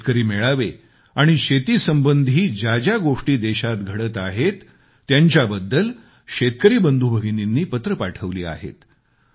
शेतकरी मेळावे आणि शेतीसंबधी ज्या ज्या गोष्टी देशात घडताहेत त्यांच्याबद्दल शेतकरी बंधूभगिनींनी पत्र पाठवली आहेत